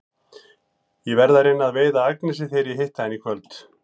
Ég verð að reyna að veiða Agnesi þegar ég hitti hana í kvöld.